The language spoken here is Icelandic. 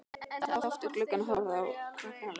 Sat oft við gluggann og horfði á krakkana leika sér.